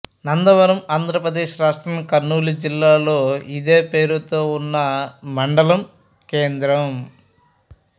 నందవరం ఆంధ్ర ప్రదేశ్ రాష్ట్రం కర్నూలు జిల్లాలో ఇదే పేరుతో ఉన్న మండలం కేంద్రం